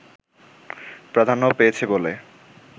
প্রাধান্য পেয়েছে বলে